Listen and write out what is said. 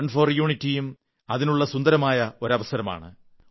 run for യൂണിറ്റിയും അതിനുള്ള സുന്ദരമായ ഒരു അവസരമാണ്